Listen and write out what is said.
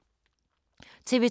TV 2